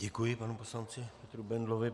Děkuji panu poslanci Petru Bendlovi.